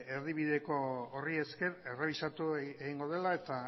erdibideko horri esker errebisatu egingo dela eta